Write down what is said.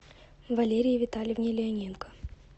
валерии витальевне леоненко